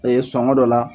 sɔngɔ dɔ la